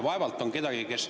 Vaevalt on kedagi, kes …